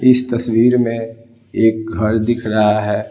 इस तस्वीर में एक घर दिख रहा है।